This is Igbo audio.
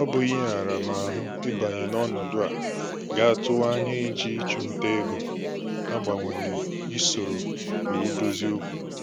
Ọ bụ ihe aramahụ ịbanye n'ọnọdụ a ga-atụwa anya iji ịchụ ntà ego agbanwe isoro iwu dozie okwu